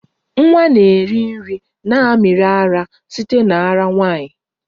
Nwa na-eri nri na mmiri ara site na ara nwanyị